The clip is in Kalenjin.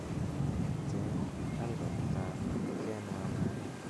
cheng albabitab ken wa maria